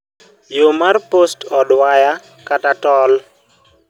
yoo mar post od waya kata toll